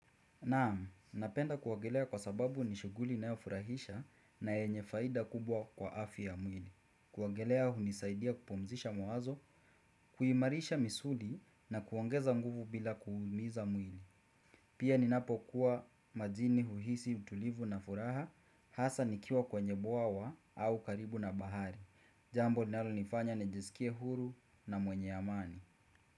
Naam, napenda kuogelea kwa sababu nishuguli inayofurahisha na yenyefaida kubwa kwa afya ya mwili. Kuogelea hunisaidia kupumzisha mwazo, kuimarisha misuli na kuongeza nguvu bila kuumiza mwili. Pia ninapo kuwa majini uhisi utulivu na furaha, hasa nikiwa kwenye bwawa au karibu na bahari. Jambo linalo nifanya nejesikie huru na mwenye amani.